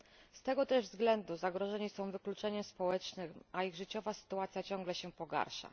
Z tego też względu zagrożeni są wykluczeniem społecznym, a ich życiowa sytuacja ciągle się pogarsza.